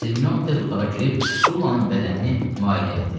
Sirmion tez otağa girib Sullanın bədənini müayinə elədi.